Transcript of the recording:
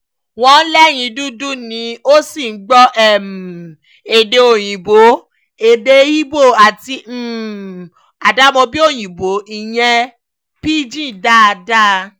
wọ́n léèyàn dúdú ni ó sì gbọ́ um èdè òyìnbó, èdè igbó àti [um]àdàmọ̀dì òyìnbó ìyẹn pidgin dáadáa